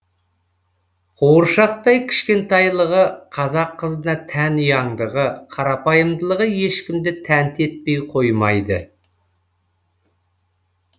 қуыршақтай кішкентайлығы қазақ қызына тән ұяңдығы қарапайымдылығы ешкімді тәнті етпей қоймайды